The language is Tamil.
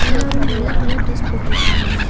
எல்லாரு வெள்ள கலர் ட்ரஸ் போட்ருக்காங்க.